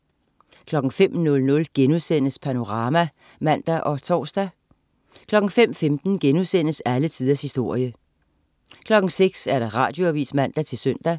05.00 Panorama* (man og tors) 05.15 Alle tiders historie* 06.00 Radioavis (man-søn)